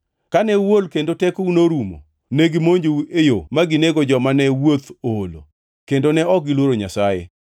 Kane uol kendo tekou norumo, negimonjou e yo ma ginego joma ne wuoth oolo; kendo ne ok giluoro Nyasaye.